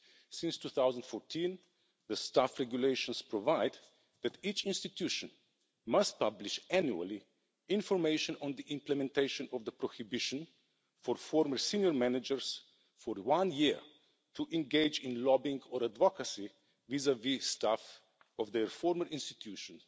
Since 2014, the Staff Regulations provide that each institution must publish annually information on the implementation of the prohibition for former senior managers for one year to engage in lobbying or advocacy vis vis staff of the former institution